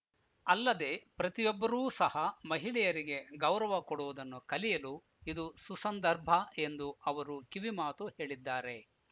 ಅಲ್ಲದೆ ಪ್ರತಿಯೊಬ್ಬರೂ ಸಹ ಮಹಿಳೆಯರಿಗೆ ಗೌರವ ಕೊಡುವುದನ್ನು ಕಲಿಯಲು ಇದು ಸುಸಂದರ್ಭ ಎಂದು ಅವರು ಕಿವಿಮಾತು ಹೇಳಿದ್ದಾರೆ